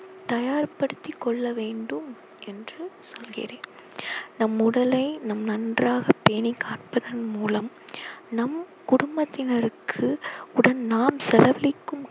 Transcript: தயார்படுத்திக் கொள்ள வேண்டும் என்று சொல்கிறேன் நம் உடலை நம் நன்றாக பேணி காப்பதன் மூலம் நம் குடும்பத்தினருக்கு உடன் நாம் செலவழிக்கும்